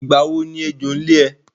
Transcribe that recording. Ìgbà wo ni ẹjọ́ ń lé ẹ?